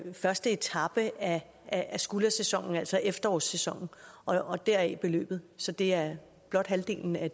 første etape af af skuldersæsonen altså efterårssæsonen og deraf beløbet så det er blot halvdelen af